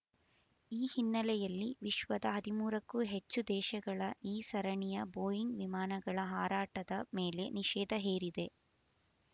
ಈ ಹಿನ್ನೆಲೆಯಲ್ಲಿ ವಿಶ್ವದ ಹದಿಮೂರಕ್ಕೂ ಹೆಚ್ಚು ದೇಶಗಳ ಈ ಸರಣಿಯ ಬೋಯಿಂಗ್ ವಿಮಾನಗಳ ಹಾರಾಟದ ಮೇಲೆ ನಿಷೇಧ ಹೇರಿದೆ